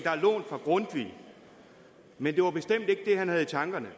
er lånt fra grundtvig men det var bestemt ikke det han havde i tankerne